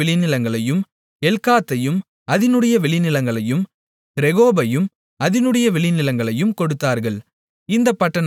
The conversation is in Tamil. எல்காத்தையும் அதினுடைய வெளிநிலங்களையும் ரேகோபையும் அதினுடைய வெளிநிலங்களையும் கொடுத்தார்கள் இந்தப் பட்டணங்கள் நான்கு